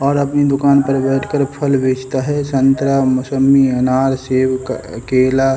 और अपनी दुकान पर बैठकर फल बेचता है संतरा मोसंबी अनार सेब केला।